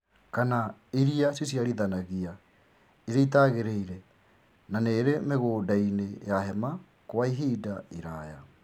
kana iria ciciarithanagia iria itagĩrĩire na nĩĩrĩ mĩgũnda-inĩ ya hema Kwa ihinda iraya